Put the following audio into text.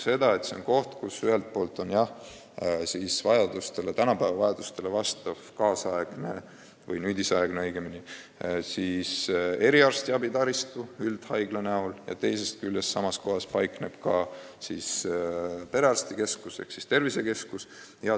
See on koht, kus ühelt poolt on olemas tänapäeva vajadustele vastav nüüdisaegne eriarstiabitaristu üldhaigla näol, teisest küljest aga paikneb samas kohas perearstikeskus ehk siis tervisekeskus.